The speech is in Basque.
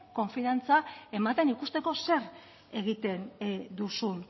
konfiantza ematen ikusteko zer egiten duzun